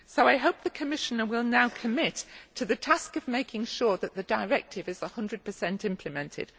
I hope the Commissioner will now commit to the task of making sure that the directive is 100 implemented.